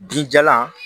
Binjalan